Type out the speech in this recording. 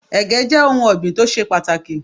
Ẹ̀gẹ́ jẹ́ ohun ọ̀gbìn tó ṣe pàtàkì.